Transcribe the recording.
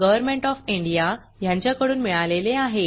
government of India कडून अर्थसहाय्य मिळाले आहे